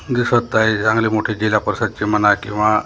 दिसत आहे चांगले मोठे जिल्हा परिषदचे म्हणा किंवा--